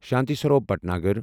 Shanti Swaroop Bhatnagar